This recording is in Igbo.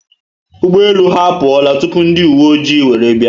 Ụgbọelu ha apuola tupu ndi uwe oji were bia